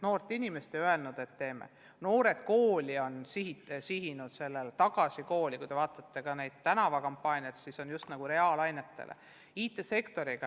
Programm "Noored kooli" on sihitud sellele, on ka "Tagasi kooli", ja kui te vaatate tänavakampaaniaid, siis needki on sihitud just reaalainetele.